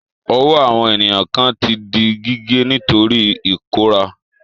Ọwọ́ àwọn ènìyàn kan ti di gígé nítorí ìkóràn.